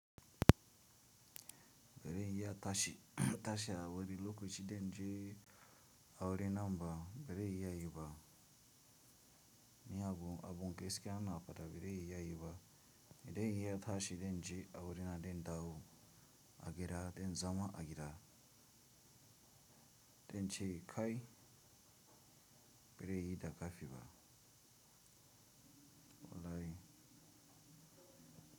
Bire yai tashi, tashi awari loko ci denje aure namba, bire yai yiba. Ni abu abun gaskiya na patabire yai yiba. Idan yai tashi denje aure na den dawo agira den zama agira. Den che kai bire yi da kafi ba. Wallahi.